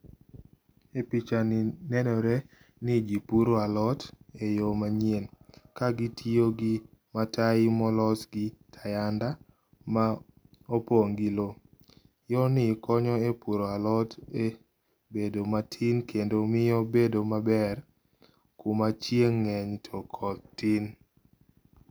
E pichani nenore ni jii puro alot e yoo manyien ka gitiyo gi watai molos gi hayanda ma opong gi loo. Yorni konyo e puro alot e medo matin kendo miyo bedo maber kuma chieng ngeny to koth tin